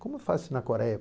Como faz na Coreia